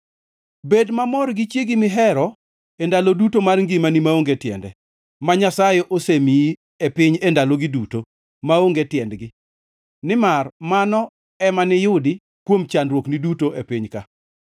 Bed mamor gi chiegi mihero e ndalo duto mar ngimani maonge tiende ma Nyasaye osemiyi e piny e ndalogi duto maonge tiendgi, nimar mano ema niyudi kuom chandruokni duto e piny ka.